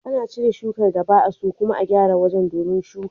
Ana cire shukar da ba'a so, kuma a gyara wajen domin shuka.